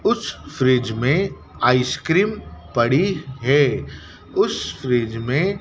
उस फ्रिज में आइसक्रीम पड़ी है उस फ्रिज में--